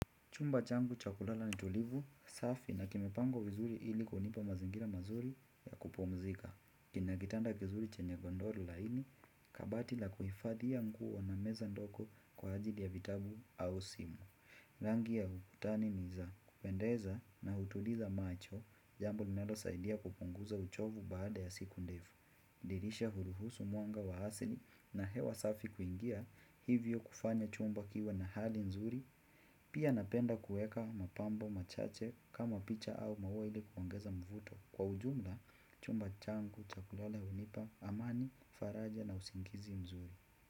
Chumba changu cha kulala ni tulivu, safi na kimepangwa vizuri ili kunipa mazingira mazuri ya kupumzika. Kina kitanda kizuri chenye godoro laini, kabati la kuhifadhi ya nguo na meza ndogo kwa ajili ya vitabu au simu. Rangi ya ukutani ni za kupendeza na hutuliza macho, jambo ninalosaidia kupunguza uchovu baada ya siku ndefu. Dirisha huruhusu mwanga wa asili na hewa safi kuingia hivyo kufanya chumba kiwe na hali nzuri pia napenda kuweka mapambo machache kama picha au maua ili kuongeza mvuto kwa ujumla chumba changu cha kulala hunipa amani faraja na usingizi mzuri.